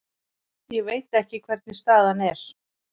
Ég veit ekki hvernig staðan er.